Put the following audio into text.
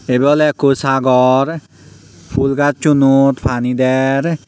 ebay ole ekku sagor phul gasdunot pani der.